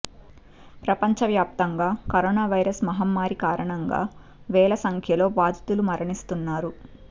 ప్రపంచ వ్యాప్తంగా corona virus మహమ్మారి కారణంగా వేల సంఖ్యలో బాధితులు మరణిస్తున్నారు